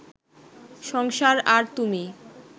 সংসার আর তুমি!